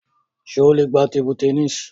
Ṣé o lè gbá tébú tẹníìsì?